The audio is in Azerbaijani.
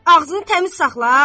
Ağzını təmiz saxla!